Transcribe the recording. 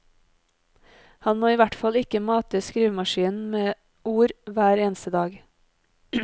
Han må i hvert fall ikke mate skrivemaskinen med ord hver eneste dag.